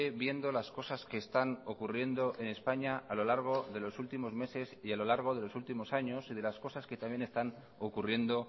viendo las cosas que están ocurriendo en españa a lo largo de los últimos meses y a lo largo de los últimos años y de las cosas que también están ocurriendo